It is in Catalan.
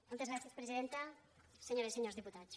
moltes gràcies presidenta senyores i senyors diputats